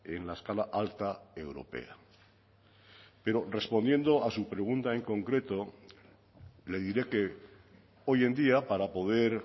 en la escala alta europea pero respondiendo a su pregunta en concreto le diré que hoy en día para poder